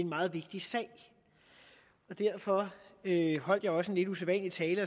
meget vigtig sag derfor holdt jeg også en lidt usædvanlig tale